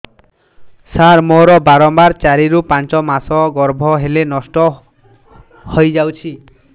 ସାର ମୋର ବାରମ୍ବାର ଚାରି ରୁ ପାଞ୍ଚ ମାସ ଗର୍ଭ ହେଲେ ନଷ୍ଟ ହଇଯାଉଛି